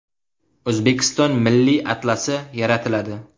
O‘zbekiston milliy atlasi yaratiladi.